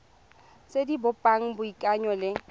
tse di bopang boikanyo le